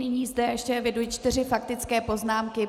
Nyní zde ještě eviduji čtyři faktické poznámky.